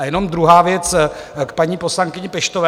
A jenom druhá věc k paní poslankyni Peštové.